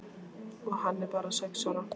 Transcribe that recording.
Og hann er bara sex ára.